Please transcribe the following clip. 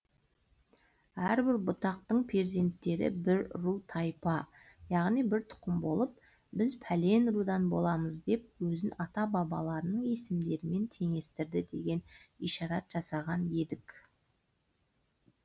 әрбір бұтақтың перзенттері бір ру тайпа яғни бір тұқым болып біз пәлен рудан боламыз деп өзін ата бабаларының есімдерімен теңестірді деген ишарат жасаған едік